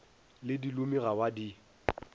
le dilomi ga ba di